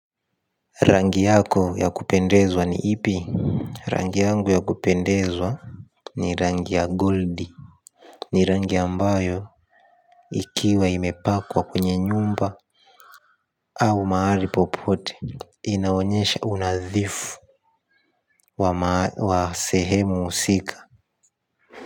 Rangi yako ya kupendezwa ni ipi. Rangi yangu ya kupendezwa. Ni rangi ya goldi. Ni rangi ambayo ikiwa imepakwa kwenye nyumba au mahali popote inaonyesha unadhifu wa wa sehemu husika.